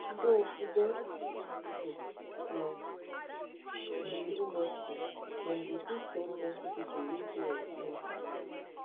so if dem want appoint pipo from um di industry dem go fit get plenty pipo wey get experience and knowledge